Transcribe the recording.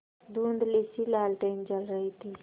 धुँधलीसी लालटेन जल रही थी